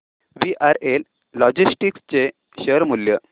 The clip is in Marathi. वीआरएल लॉजिस्टिक्स चे शेअर मूल्य